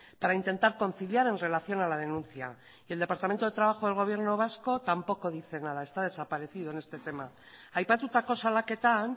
para intentar conciliar en relación a la denuncia y el departamento de trabajo del gobierno vasco tampoco dice nada está desaparecido en este tema aipatutako salaketan